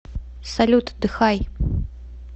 салют отдыхай